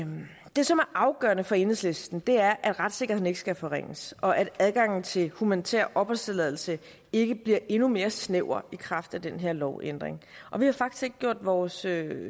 det som er afgørende for enhedslisten er at retssikkerheden ikke skal forringes og at adgangen til humanitær opholdstilladelse ikke bliver endnu mere snæver i kraft af den her lovændring og vi har faktisk ikke gjort vores